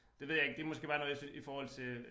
Det ved jeg ikke det måske bare noget jeg synes i forhold til